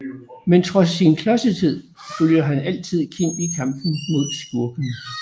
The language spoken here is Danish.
Men trods sin klodsethed følger han altid Kim i kampen mod skurkene